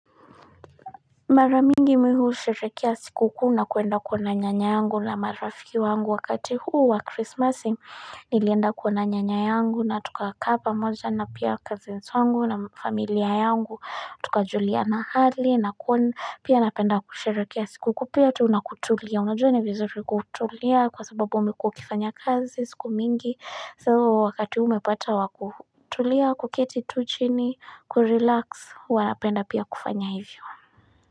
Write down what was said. Mara mingi mimi husherehekia sikukuu na kuenda kuona nyanyangu na marafiki wangu wakati huwa Christmasing, nili enda kuona nyanyayangu na tukaka kapa moja na pia cousins wangu na familiar yangu Tukajuliana hali na kuona pia na penda kusherehekia sikukuu, pia tunakutulia Unajua ni vizuri kutulia kwa sababu umekuwa ukifanya kazi sikumingi So wakati hume pata wakutulia, kuketi tuchini, kurelax, wana penda pia kufanya hivyo.